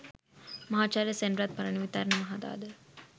මහාචාර්ය සෙනරත් පරණවිතාන මහතා ද